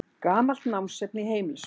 Gamalt námsefni í heimilisfræði.